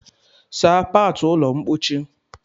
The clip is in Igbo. Saa kpatu ụlọ mpochi!